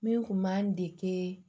Min kun b'an dege